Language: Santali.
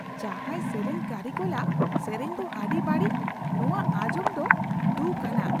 ᱡᱟᱦᱟᱭ ᱥᱮᱨᱮᱧ ᱠᱟᱹᱨᱤᱜᱚᱞᱟᱜ ᱥᱮᱨᱮᱧ ᱫᱚ ᱟᱹᱰᱤ ᱵᱟᱹᱲᱤᱡ ᱾ ᱱᱚᱶᱟ ᱟᱸᱡᱚᱢ ᱫᱚ ᱫᱷᱩᱠᱷ ᱟᱱᱟᱜ ᱾